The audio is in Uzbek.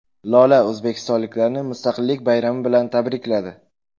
Lola o‘zbekistonliklarni Mustaqillik bayrami bilan tabrikladi.